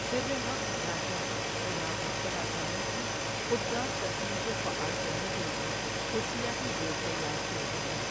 سرٌِ حق را چوں جنابِ مجتبےٰ چالوں کی خودکار ترسیل کو فعال کرنے کے لیے حسیاتی بورڈ تیار کیے گئے ہیں۔